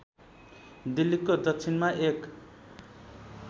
दिल्लीको दक्षिणमा एक